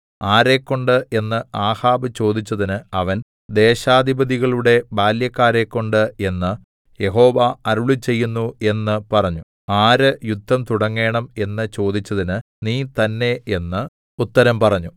ആരെക്കൊണ്ട് എന്ന് ആഹാബ് ചോദിച്ചതിന് അവൻ ദേശാധിപതികളുടെ ബാല്യക്കാരെക്കൊണ്ട് എന്ന് യഹോവ അരുളിച്ചെയ്യുന്നു എന്ന് പറഞ്ഞു ആര് യുദ്ധം തുടങ്ങേണം എന്ന് ചോദിച്ചതിന് നീ തന്നേ എന്ന് ഉത്തരം പറഞ്ഞു